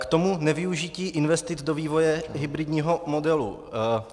K tomu nevyužití investic do vývoje hybridního modelu.